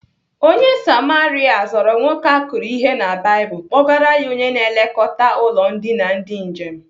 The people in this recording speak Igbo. Onye Samaria zọrọ nwoke akụrụ ihe na Baịbụl kpọgara ya onye na-elekọta ụlọ ndina ndị njem.